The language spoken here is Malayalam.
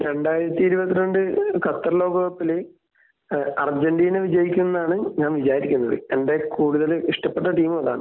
രണ്ടായിരത്തിഇരുപത്തിരണ്ട് ഖത്തർ ലോക കപ്പില് ഏഹ് അർജന്റീന വിജയിക്കും എന്നാണ് ഞാൻ വിചാരിക്കുന്നത് . എന്റെ കൂടുതൽ ഇഷ്ട്ടപ്പെട്ട ടീമും അതാണ്.